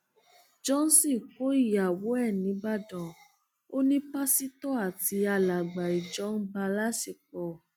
johnson kó ìyàwó ẹ nìbàdàn ò ní pásítọ àti alàgbà ìjọ ń bá a láṣepọ